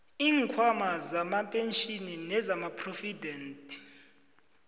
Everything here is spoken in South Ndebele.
iinkhwama zamapentjhini nezamaphrovidenti